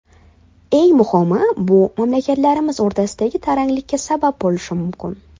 Eng muhimi, bu mamlakatlarimiz o‘rtasida taranglikka sabab bo‘lishi mumkin.